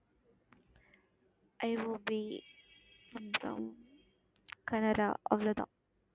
IOB, , Canara அவ்வளவு தான்